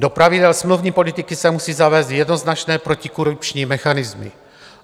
Do pravidel smluvní politiky se musí zavést jednoznačné protikorupční mechanismy.